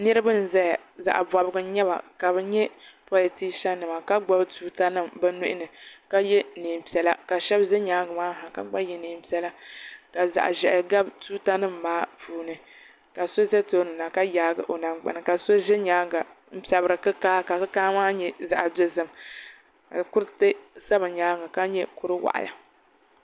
Niriba n zaya zaɣa bobgu n nyɛba ka bɛ nyɛ politisa nima ka gbibi tuuta nima bɛ nuhini ka ye niɛnpiɛlla sheba ʒɛ nyaanga maa ha ka gba ye niɛnpiɛlla ka zaɣa ʒehi gabi tuuta nima maa puuni ka so za tooni na ka yaagi o nangbani ka so ʒɛ nyaanga n pepri kikaa ka kikaa maa nyɛ zaɣa dozim ka kuriti za bɛ nyaanga ka nyɛ kuri waɣala.